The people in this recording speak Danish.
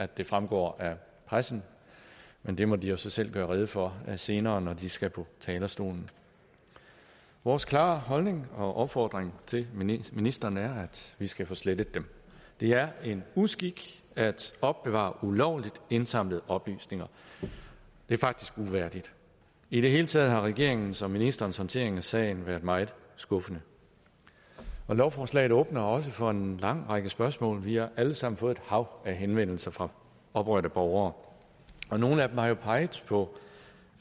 det fremgår af pressen men det må de jo så selv gøre rede for senere når de skal på talerstolen vores klare holdning og opfordring til ministeren er at vi skal få slettet dem det er en uskik at opbevare ulovligt indsamlede oplysninger det er faktisk uværdigt i det hele taget har regeringens og ministerens håndtering af sagen været meget skuffende lovforslaget åbner også for en lang række spørgsmål vi har alle sammen fået et hav af henvendelser fra oprørte borgere og nogle af dem har jo peget på